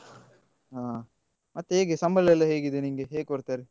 ಹಾ ಹೇಗೆ ಮತ್ತೆ ಸಂಬಳ ಎಲ್ಲ ಹೇಗಿದೆ ನಿನ್ಗೆ ಹೇಗ್ ಕೊಡ್ತಾರೆ?